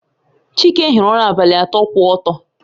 Chike hiri ụra abalị atọ kwụ ọtọ